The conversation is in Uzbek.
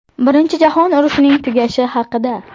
Birinchi jahon urushining tugashi haqida ”.